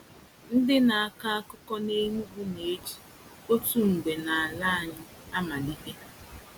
Ndị na-akọ akụkọ na Enugwu na-eji “Otu mgbe n’ala anyị.” amalite.